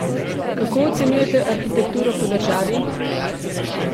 Kako ocenjujete arhitekturo po državi?